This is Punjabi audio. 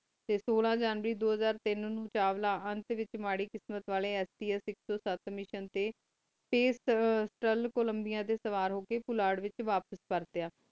ਟੀ ਸੋਲਾ ਜਾਂਦੀ ਦੋ ਹਜ਼ਾਰ ਤੀਨ ਨੂ ਚਾਵਲਾ ਆਂਥ ਵਿਚ ਮਾਰੀ ਕਿਸਮਤ ਵਲੀ ਅਸੀਂ ਅਸੀਂ ਸਾਥ ਮਿਸ਼ਿਓਂ ਟੀ ਫਾਚੇਤੁਰਲ ਕੋਲੰਬਿਆ ਟੀ ਸਵਾਰ ਹੋ ਕ ਪੋਲਟ ਵਿਚ ਵਾਪਿਸ ਪਾਰ੍ਟਿਯ